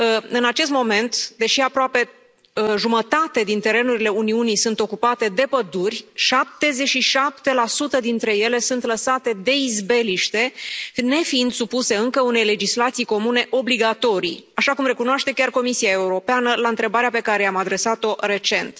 În acest moment, deși aproape jumătate din terenurile Uniunii sunt ocupate de păduri, 77 dintre ele sunt lăsate de izbeliște, nefiind supuse încă unei legislații comune obligatorii, așa cum recunoaște chiar Comisia Europeană la întrebarea pe care i am adresat o recent.